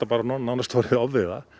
nánast orðið ofviða